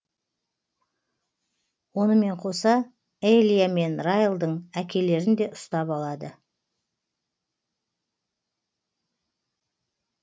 онымен қоса элия мен райлдың әкелерін де ұстап алады